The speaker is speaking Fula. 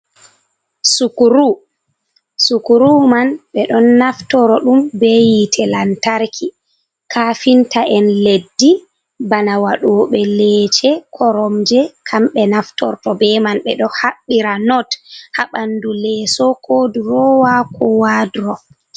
Sukuru, Sukuru man ɓe ɗon naftoro ɗum be yite lantarki, kafinta en leddi bana waɗoɓe leece, koromje, kamɓe naftorto be man, ɓeɗo haɓbira not ha ɓandu leeso ko durowa ko waduro.